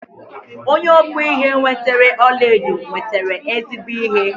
Onye ọkpụ ihe nwetere ọlaedo nwetere ezigbo ihe.